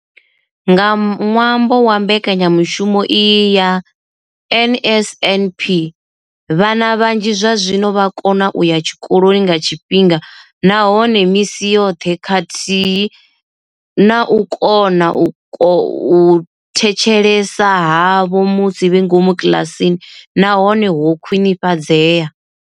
Nga ṅwambo wa mbekanyamushumo iyi ya NSNP, vhana vhanzhi zwazwino vha vho kona u ya tshikoloni nga tshifhinga nahone misi yoṱhe khathihi na uri u kona u thetshelesa havho musi vhe ngomu kiḽasini na hone ho khwinifhadzea.